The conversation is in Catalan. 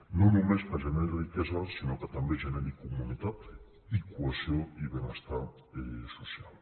no només que generi riquesa sinó que també generi comunitat i cohesió i benestar social